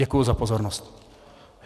Děkuji za pozornost.